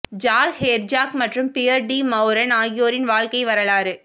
jack Herzog மற்றும் Pierre de Meuron ஆகியோரின் வாழ்க்கை வரலாறு